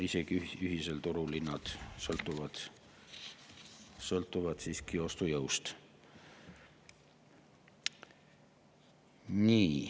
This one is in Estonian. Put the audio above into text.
Isegi ühisel turul sõltuvad hinnad siiski ostujõust.